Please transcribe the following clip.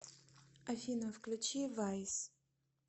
афина включи вайс